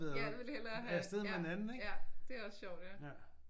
Ja ja ville hellere have. Ja ja det er også sjovt ja